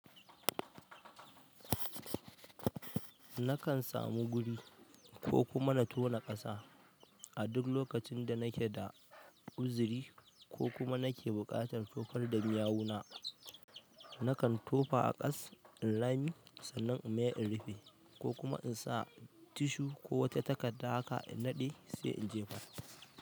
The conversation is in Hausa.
Nakan samu guri ko kuma na tona ƙasa. A duk lokacin danake da uzuri kokuma nake buƙatar tofar da yawuna nakan tofa a ƙas in rami sannan in mayar in rufe kokuma insa tissue ko wata takarda haka innaɗe sai in jefar.